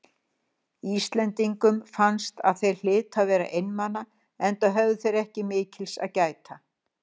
Íslendingum fannst að þeir hlytu að vera einmana, enda höfðu þeir ekki mikils að gæta.